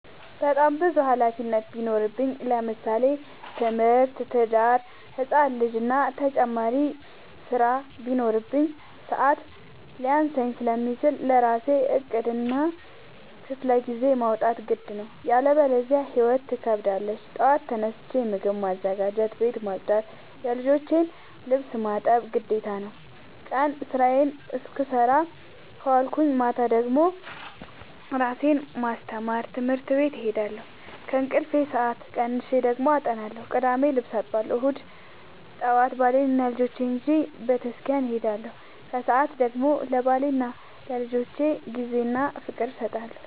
በጣም ብዙ ሀላፊነት ቢኖርብኝ ለምሳሌ፦ ትምህርት፣ ትዳር፣ ህፃን ልጂ እና ተጨማሪ ስራ ቢኖርብኝ። ሰዐት ሊያንሰኝ ስለሚችል ለራሴ ዕቅድ እና ክፍለጊዜ ማውጣት ግድ ነው። ያለበዚያ ህይወት ትከብደኛለች ጠዋት ተነስቼ ምግብ ማዘጋጀት፣ ቤት መፅዳት የልጆቼን ልብስ ማጠብ ግዴታ ነው። ቀን ስራዬን ስሰራ ከዋልኩኝ ማታ ደግሞ እራሴን ለማስተማር ትምህርት ቤት እሄዳለሁ። ከእንቅልፌ ሰአት ቀንሼ ደግሞ አጠናለሁ ቅዳሜ ልብስ አጥባለሁ እሁድ ጠዋት ባሌንና ልጆቼን ይዤ በተስኪያን እሄዳለሁ። ከሰዓት ደግሞ ለባሌና ለልጆቼ ጊዜ እና ፍቅር እሰጣለሁ።